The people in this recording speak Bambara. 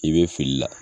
I bɛ fili la